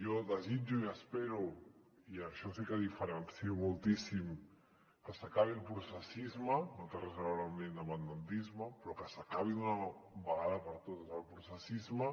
jo desitjo i espero i en això sí que ho diferencio moltíssim que s’acabi el processisme que no té res a veure amb l’independentisme però que s’acabi d’una vegada per totes el processisme